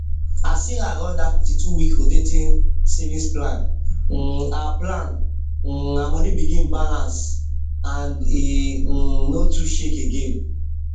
as sarah run that 52week rotating savings plan um her plan um her money begin balance and e um no too shake again um